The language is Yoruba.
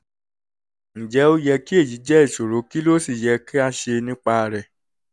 ǹjẹ́ ó yẹ kí èyí jẹ́ ìṣòro kí ló sì yẹ ká ṣe nípa rẹ̀?